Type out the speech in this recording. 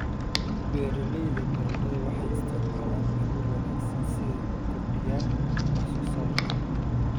Beeralayda baradhada waxay isticmaalaan abuur wanaagsan si ay u kordhiyaan wax soo saarka.